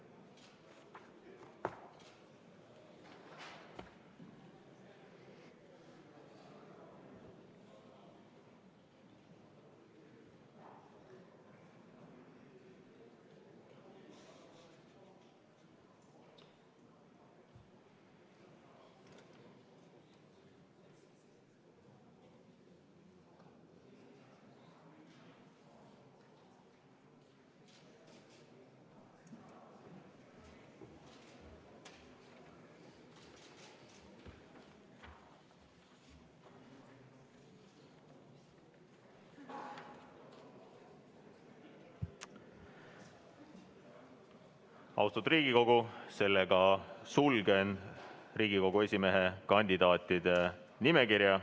Austatud Riigikogu, sulgen Riigikogu esimehe kandidaatide nimekirja.